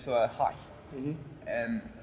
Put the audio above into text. og hægt var en